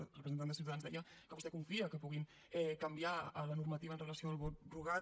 la representant de ciutadans deia que vostè confia que puguin canviar la normativa amb relació al vot rogat